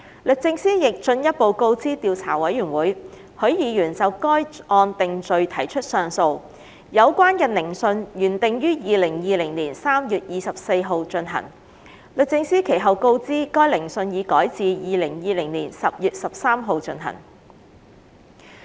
律政司亦進一步告知調查委員會，許議員就該案定罪提出上訴，有關的聆訊原定於2020年3月24日進行，律政司其後告知該聆訊已改至2020年10月13日進行。